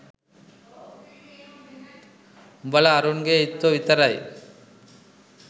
උඹල අරුන්ගේ ඉත්තෝ විතරයි